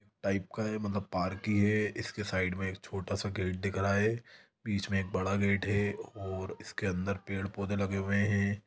--Type का है मतलब पार्क ही है उसके साइड मे एक छोटा सा गेट दिख रहा है बीच मे एक बड़ा सा गेट भी है और उसके अंदर बहुत पेड़ पौधे भी लगे है।